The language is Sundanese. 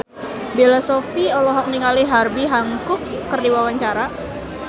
Bella Shofie olohok ningali Herbie Hancock keur diwawancara